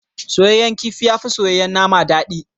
Soyayyen kifi yafi soyayyen nama dadi.